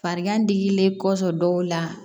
Farigan digilen kɔfɛ dɔw la